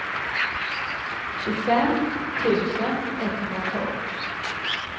tjugofem tusen etthundratolv